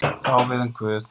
Það á við um guð.